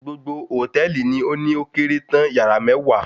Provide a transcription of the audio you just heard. Gbogbo hòtẹ́ẹ̀lì ni ó ní ókéré tán, yàrá mẹ́wàá